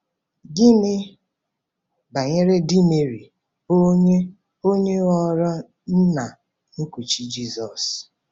Gịnị banyere di Meri, bụ́ onye onye ghọrọ nna nkuchi Jisọs?